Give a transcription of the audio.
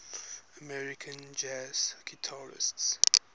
american jazz guitarists